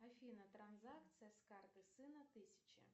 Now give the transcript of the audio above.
афина транзакция с карты сына тысяча